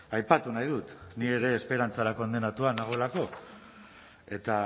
aipatu nahi dut ni ere esperantzara kondenatua nagoelako eta